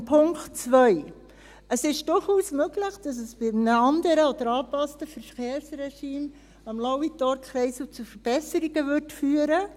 Zum Punkt 2: Es ist durchaus möglich, dass es bei einem anderen oder angepassten Verkehrsregime am Lauitorkreisel zu Verbesserungen käme.